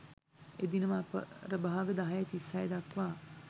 එදිනම අපරභාග 10.36 දක්වා